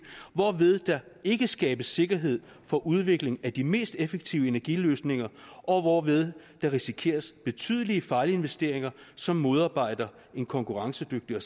hvorved der ikke skabes sikkerhed for udvikling af de mest effektive energiløsninger og hvorved der risikeres betydelige fejlinvesteringer som modarbejder en konkurrencedygtig